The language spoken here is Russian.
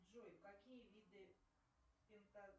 джой какие виды